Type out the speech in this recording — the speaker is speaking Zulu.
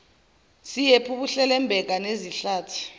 siyephu buhlelembeka nezihlathi